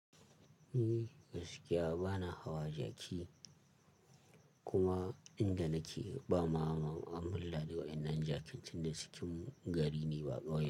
Ni gaskiya bana hawa jaki, kuma inda nake ba ma mun ladi wa'inan jakin tun da cikin gari ne ba.